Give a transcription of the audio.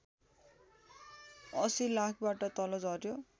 ८० लाखबाट तल झर्‍यो